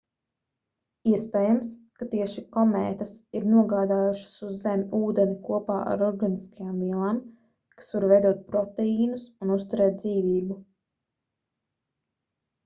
iespējams ka tieši komētas ir nogādājušas uz zemi ūdeni kopā ar organiskajām vielām kas var veidot proteīnus un uzturēt dzīvību